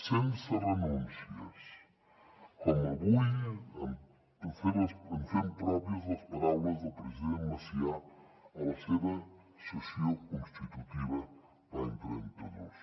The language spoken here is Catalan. sense renúncies com avui ens fem pròpies les paraules del president macià a la seva sessió constitutiva l’any trenta dos